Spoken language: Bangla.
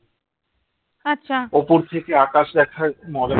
উপর থেকে আকাশ দেখার মজা